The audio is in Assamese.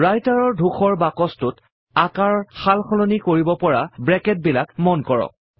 Writer ৰ ধূসৰ বাকছটোত আকাৰ সালসলনি কৰিব পৰা ব্ৰেকেটবিলাক মন কৰক